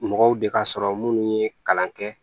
Mɔgɔw de ka sɔrɔ minnu ye kalan kɛ